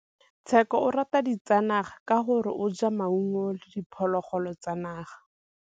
Tshekô o rata ditsanaga ka gore o ja fela maungo le diphologolo tsa naga.